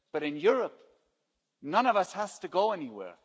But in Europe, none of us has to go anywhere.